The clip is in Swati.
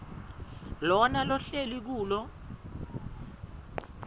lona lohlele kulo